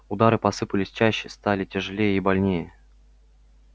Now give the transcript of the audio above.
удары посыпались чаще стали тяжелее и больнее